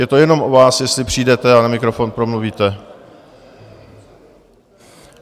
Je to jenom na vás, jestli přijdete a na mikrofon promluvíte.